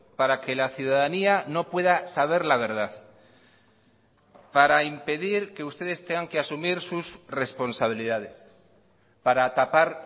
para que la ciudadanía no pueda saber la verdad para impedir que ustedes tengan que asumir sus responsabilidades para tapar